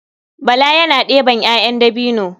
Bala yana ɗeban 'ya'yan dabino.